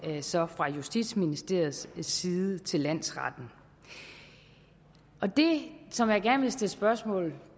så fra justitsministeriets side til landsretten det som jeg gerne vil stille spørgsmål